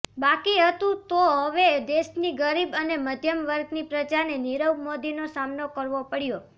બાકી હતું તો હવે દેશની ગરીબ અને મધ્યમવર્ગની પ્રજાને નીરવ મોદીનો સામનો કરવો પડ્યો